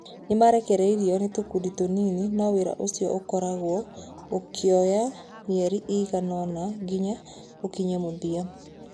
Nĩ makaarekererio na tũkundi tũnini, na wĩra ũcio ũgakorũo ũkuoya mĩeri ĩigana ũna nginya ũkinye mũthia.